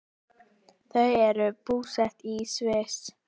Þau eru búsett í Sviss.